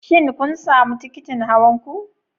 Shin kun sami tikitin hawan ku?